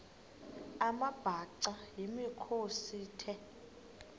amabhaca yimikhosi the